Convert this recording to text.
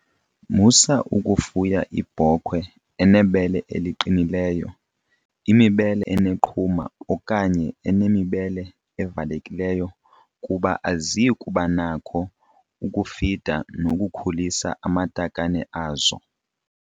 Musa ukufufya ibhokhwe enebele eliqinileyo, imibele eneqhuma okanye enemibele evalekileyo kuba aziyi kuba nacho ukufida nokukhulisa amatakane azo.